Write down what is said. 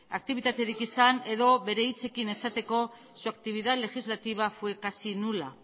aktibitaterik izan edo bere hitzekin esateko su actividad legislativa fue casi nula